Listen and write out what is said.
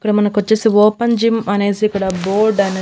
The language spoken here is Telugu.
ఇక్కడ మనకు వచ్చేసి ఓపెన్ జిమ్ అనేసి ఇక్కడ బోర్డ్ అనే--